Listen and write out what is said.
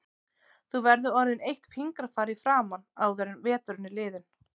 Þú verður orðin eitt fingrafar í framan áður en veturinn er liðinn